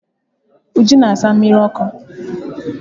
Uju na asa mmiri ọkụ.